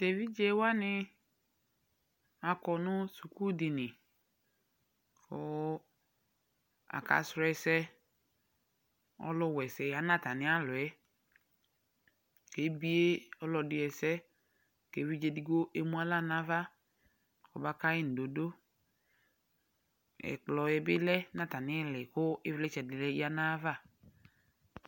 tʋ ɛvidzɛ wani akɔ nʋ sʋkʋ dini kʋ aka srɔ ɛsɛ, ɔlʋ wɛsɛ yanʋ atani alɔɛ kʋ ɛbiɛ ɔlɔdi ɛsɛ kʋ ɛvidzɛ ɛdigbɔ ɛmʋ ala nʋ aɣa kʋ ɔbakai mdɔdɔ, ɛkplɔɛ bilɛnʋ atamiili kʋivlitsɛ dini yanʋ aɣa